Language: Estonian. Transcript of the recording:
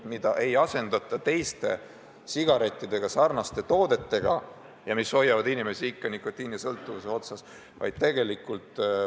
Et sigarette ei asendata teiste, sigaretisarnaste toodetega, mis hoiavad inimesi ikka nikotiinisõltuvuse lõa otsas.